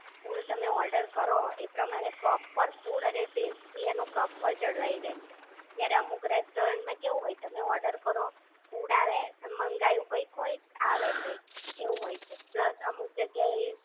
Food તમે order કરો એ પ્રમાણે પ્રોપર ફૂડ અને ટેસ્ટ ભી એનો જળવાઈ રહેશે. જ્યારે અમુક રેસ્ટોરન્ટમાં કેવું હોય તમે ઓર્ડર કરો ફૂડ આવે તમ મંગાવ્યું કંઈક હોય અને આવે કંઈક એવું હોય છે, પ્લસ અમુક જગ્યા એ